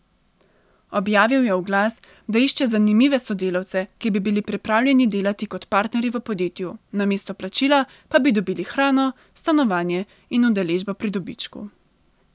Objavil je oglas, da išče zanimive sodelavce, ki bi bili pripravljeni delati kot partnerji v podjetju, namesto plačila pa bi dobili hrano, stanovanje in udeležbo pri dobičku.